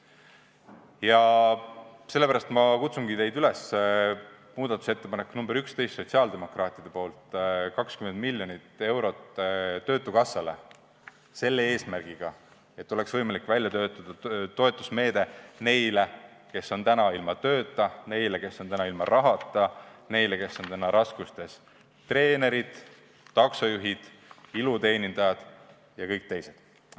Ja sellepärast ma kutsungi teid üles toetama sotsiaaldemokraatide muudatusettepanekut nr 11: eraldada 20 miljonit eurot töötukassale selle eesmärgiga, et oleks võimalik välja töötada toetusmeede neile, kes on täna ilma tööta, neile, kes on täna ilma rahata, neile, kes on täna raskustes: treenerid, taksojuhid, iluteenindajad ja paljud teised.